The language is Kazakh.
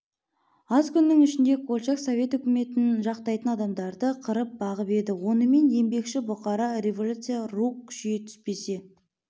аз күннің ішінде колчак совет өкіметін жақтайтын адамдарды қырып-қ бағып еді онымен еңбекші бұқарада революциядан рух күшейе туспесе